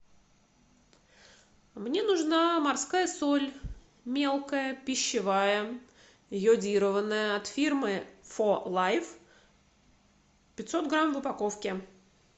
мне нужна морская соль мелкая пищевая йодированная от фирмы фо лайф пятьсот грамм в упаковке